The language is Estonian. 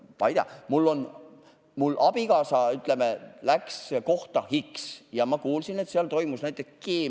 Näiteks läks mu abikaasa kohta X ja ma kuulsin, et seal toimus keemiareostus.